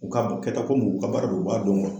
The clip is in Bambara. U k'a ma kɛta ko muɲu u ka baara don u b'a dɔn kuwa